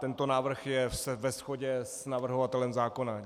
Tento návrh je ve shodě s navrhovatelem zákona.